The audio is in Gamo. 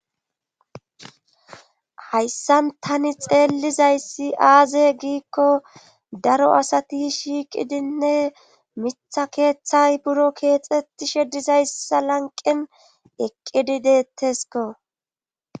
Hayssan tani xeellizayssi aaze giikko daro asati shiiqidinne mitha keeththay buro keexxettishe dizayssa lanqen eqqidi deettesko.